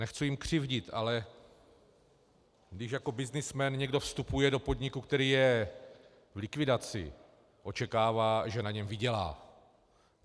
Nechci jim křivdit, ale když jako byznysmen někdo vstupuje do podniku, který je v likvidaci, očekává, že na něm vydělá.